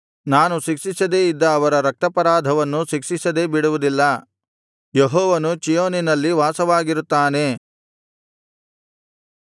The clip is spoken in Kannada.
ನಾನು ಶಿಕ್ಷಿಸದೆ ಇದ್ದ ಅವರ ರಕ್ತಾಪರಾಧವನ್ನು ಶಿಕ್ಷಿಸದೇ ಬಿಡುವುದಿಲ್ಲ ಯೆಹೋವನು ಚೀಯೋನಿನಲ್ಲಿ ವಾಸವಾಗಿರುತ್ತಾನೆ